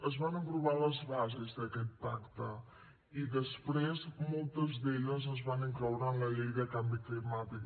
es van aprovar les bases d’aquest pacte i després moltes d’elles es van incloure en la llei de canvi climàtic